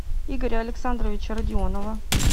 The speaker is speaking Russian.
игоря александровича родионова